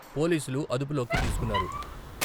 పోలీసులు అదుపులోకి తీసుకున్నారు.